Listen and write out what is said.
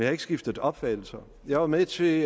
har ikke skiftet opfattelse jeg var med til